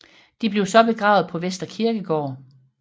De blev så begravet på Vestre Kirkegård